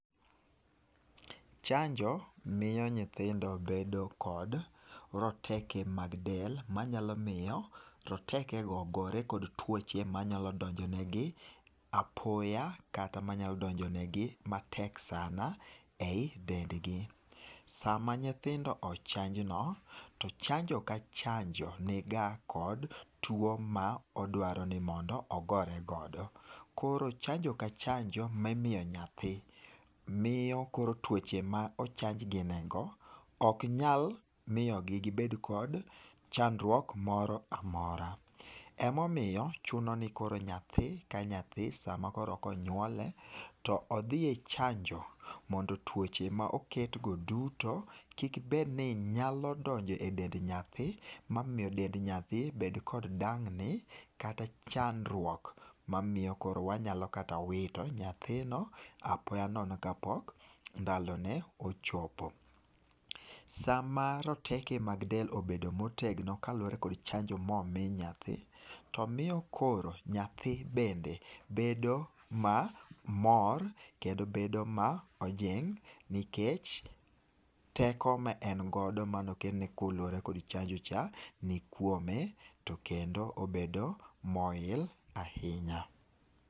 Chanjo miyo nyithindo bedo kod roteke mag del, manyalo miyo rotekego gore kod tuoche manyalo donjo negi apoya kata manyalo donjo negi matek sana ei dendgi. Sama nyithindo ochanj no, to chanjo ka chanjo niga kod tuo ma odwaro ni mondo ogore godo. Koro chanjo ka chanjo mimiyo nyathi miyo koro tuoche ma ochanjgi nego ok nyal miyogi gibed kod chandruok moro amora. Emomiyo chuno ni koro nyathi ka nyathi sama koro konyuole, to odhi e chanjo mondo tuoche ma oketgo duto kik bed ni nyalo donjo e dend nyathi momiyo dend nyathi bed kod dang ni kata chandruok mamiyo koro wanyalo kata wito nyathino apoya nono kapok ndalone ochopo. Sama roteke mag del obedo motegno kaluwore kod chanjo momi nyathi, to miyo koro nyathi bende bedo mamor kendo bedo ma ojing' nikech teko ma en godo mane okelne kaluwore kod chanjo cha nikuome to kendo obedo moil ahinya.